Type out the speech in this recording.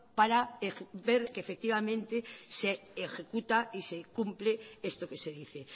para ver que efectivamente se ejecuta y se cumple esto que se dice